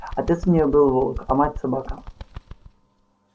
отец у нее был волк а мать собака